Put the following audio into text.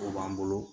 O b'an bolo